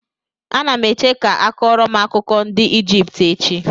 Anam eche ka a kọọrọ m akụkọ ndị Ijipt echi.